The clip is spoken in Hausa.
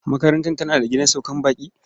Makarantar tana da gidan saukar baƙi?